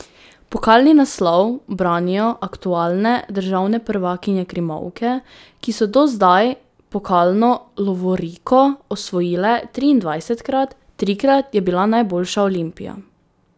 Pokalni naslov branijo aktualne državne prvakinje krimovke, ki so do zdaj pokalno lovoriko osvojile triindvajsetkrat, trikrat je bila najboljša Olimpija.